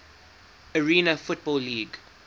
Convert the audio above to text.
arena football league